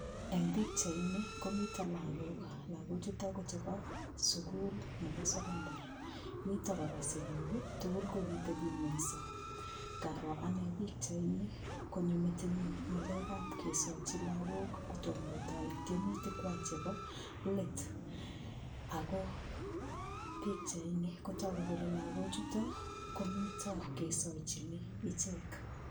Eng' pikchaini komito lakok lakochuto chebo sukul nebo sokondar mito kora sikik tugul kokiteping'wenyso ngaro ane pikchaini konyo metinyu ng'alekab kesochi lakok kotomo kotoi tiemutik kwach chebo let ako pikchaini kotoku kole lakochuto komito kesoichini ichek